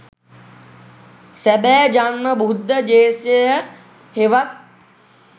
සැබෑ ජන්ම බුද්ධ දේශය හෙවත්